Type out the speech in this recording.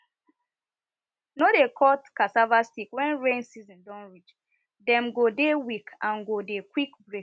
no dey cut cassava stick when rain season don reachthem go dey weak and go dey quick break